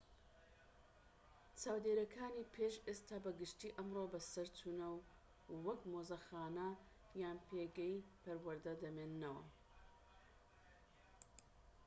چاودێریەکانی پێش ئێستا بە گشتی ئەمڕۆ بەسەرچوونە و وەک مۆزەخانە یان پێگەی پەروەردە دەمێننەوە